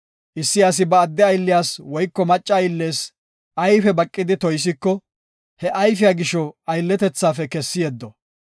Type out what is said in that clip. “Issi asi ba adde aylliyas woyko macca ayllees ayfe baqidi toysiko, he ayfiya gisho aylletethafe kessi yeddo.